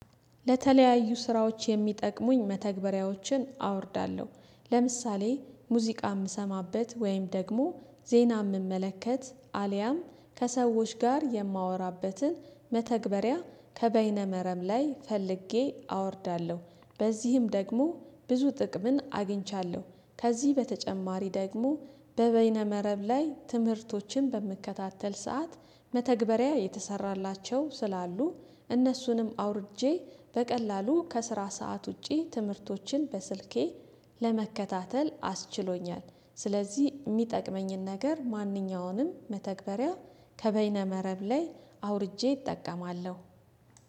ለተለያዩ ስራዎች የሚጠቅሙኝ መተግበሪያዎችን አወርዳለሁ። ለምሳሌ ሙዚቃ የምሰማበት ወይም ደግሞ ዜና ምመለከት አልያም ከሰዎች ጋር የማወራበትን መተግበሪያ ከበይነ መረብ ላይ ፈልጌ አወርዳለሁ። በዚህም ደግሞ ብዙ ጥቅምን አግኝቻለሁ። ከዚህ በተጨማሪ ደግሞ በበይነ መረብ ላይ ትምህርቶችን በምከታተል ሰዓት መተግበሪያ የተሰራላቸው ስላሉ እነሱንም አውርጄ በቀላሉ ከስራ ሰዓት ውጪ ትምህርቶችን በስልኬ ለመከታተል አስችሎኛል። ስለዚህ የሚጠቅመኝን ነገር ማንኛውንም መተግበሪያ ከበይነ መረብ ላይ አውርጄ እጠቀማለሁ